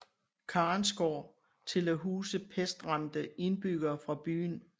Karensgård til at huse pestramte indbyggere fra byen